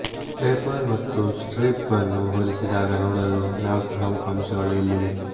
PayPal ಮತ್ತು Stripe ಅನ್ನು ಹೋಲಿಸಿದಾಗ ನೋಡಲು ನಾಲ್ಕು ಪ್ರಮುಖ ಅಂಶಗಳು ಇಲ್ಲಿವೆ